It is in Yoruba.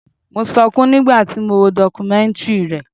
Mo sọkún nígbà tí mo wo dọkumẹ́ntìrì rẹ̀.